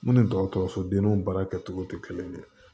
Mun ni dɔgɔtɔrɔso denniw baara kɛcogo tɛ kelen ye